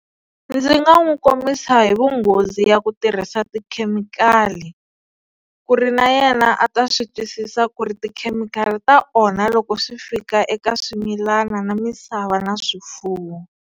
Ndzi nga n'wi kombisa hi vunghozi ya ku tirhisa tikhemikhali ku ri na yena a ta swi twisisa ku ri tikhemikhali ta onha loko swi fika eka swimilana na misava na swifuwo.